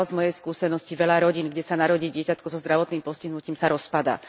Žiaľ, z mojej skúsenosti veľa rodín, kde sa narodí dieťatko so zdravotným postihnutím, sa rozpadá.